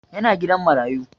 Yana gidan marayu